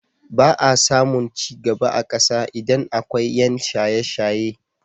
Ba a samun ci gaba a ƙasa idan akwai ƴan shaye-shaye.